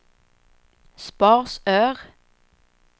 Sparsör